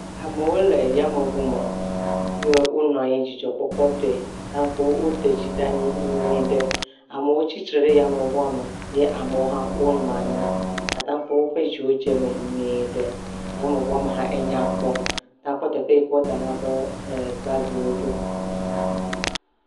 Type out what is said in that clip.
Amewo le yameŋu me. Ye wonɔ anyi dzidzɔkpɔkpɔtɔe. Ta akpɔ be woɖe dzi ɖe anyi nyuie ɖe. amewo tsitre ɖe yameŋua me eye amewo hã wonɔ anyi. Ata kpɔ be woƒe dziwo dze eme nyuie ɖe. Yameŋua me hã enay kpɔ. Ta kpɔ be teƒe yi ke wodana woƒe bagiwo ɖo.